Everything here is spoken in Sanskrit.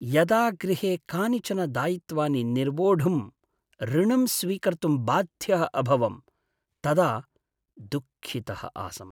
यदा गृहे कानिचन दायित्वानि निर्वोढुं ऋणं स्वीकर्तुं बाध्यः अभवम् तदा दुःखितः आसम्।